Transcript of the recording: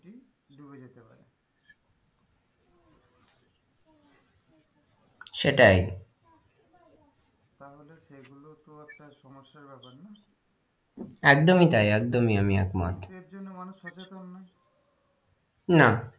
সেটাই তারমধ্যে সেগুলোও তো একটা সমস্যার ব্যাপার না একদমই তাই একদমই আমি একমত কিন্তু এর জন্য মানুষ সচেতন নই না।